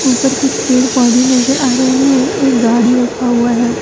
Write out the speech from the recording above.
ऊपर कुछ पेड़ पौधे नजर आ रहे हैं एक गाड़ी रखा हुआ है।